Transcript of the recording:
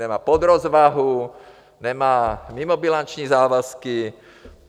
Nemá podrozvahu, nemá mimobilanční závazky.